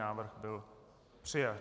Návrh byl přijat.